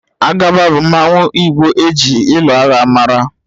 Agaba bu mmanwu igbo eji ịlụ agha mara